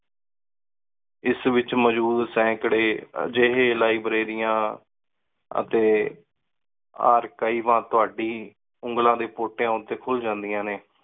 ਏਸ ਵਿਚ ਮੋਜੋੜ ਸੈਂਕੜੇ ਜਿਹੇ ਲਿਬ੍ਰਰੇਰੀਆਂ ਅਤੇ ਆ ਕਈ ਵਾਰ ਤੁਹਾਡੀ ਉਂਗਲਾਂ ਦੇ ਪੋਟੀ ਓੰਣ ਤੇ ਖੁਲ ਜਾਨ੍ਦਿਯਾਂ ਨੇ